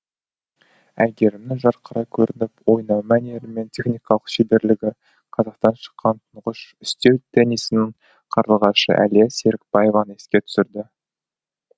әйгерімнің жарқырай көрініп ойнау мәнері мен техникалық шеберлігі қазақтан шыққан тұңғыш үстел теннисінің қарлығашы әлия серікбаеваны еске түсірді